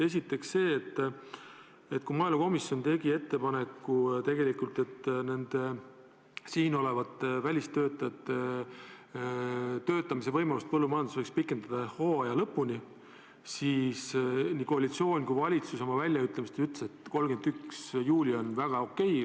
Esiteks see, et kui maaelukomisjon tegi ettepaneku, et siin juba olevate välistöötajate töötamise võimalust põllumajanduses võiks pikendada hooaja lõpuni, siis nii koalitsioon kui valitsus teatas, et 31. juuli on väga okei.